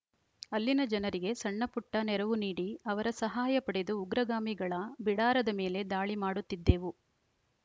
ಅಲ್ಲಿನ ಜನರಿಗೆ ಸಣ್ಣ ಪುಟ್ಟನೆರವು ನೀಡಿ ಅವರ ಸಹಾಯ ಪಡೆದು ಉಗ್ರಗಾಮಿಗಳ ಬಿಡಾರದ ಮೇಲೆ ದಾಳಿ ಮಾಡುತ್ತಿದ್ದೆವು